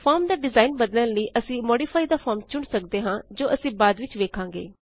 form ਦਾ design ਬਦਲਨ ਲਈ ਅਸੀ ਮੋਡੀਫਾਈ ਥੇ ਫਾਰਮ ਚੁਣ ਸਕਦੇ ਹਾਂ ਜੋ ਅਸੀਂ ਬਾਅਦ ਵਿਚ ਵੇਖਾਂਗੇ